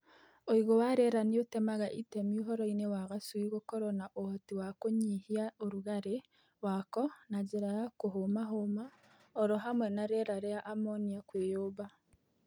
Uigũ wa rĩera nĩutemaga itemi ũhoro-inĩ wa gacui gũkorwo na ũhoti wa kũnyihia ũrugarĩ wako na njĩra ya kũhũma hũma oro hamwe na rĩera rĩa amonia kwĩyũmba.